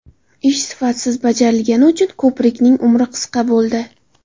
Ish sifatsiz bajarilgani uchun ko‘prikning ‘umri qisqa’ bo‘ldi.